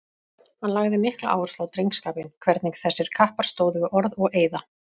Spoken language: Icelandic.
Hann lagði mikla áherslu á drengskapinn, hvernig þessir kappar stóðu við orð og eiða.